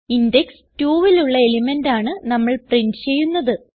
index 2ലുള്ള element ആണ് നമ്മൾ പ്രിന്റ് ചെയ്യുന്നത്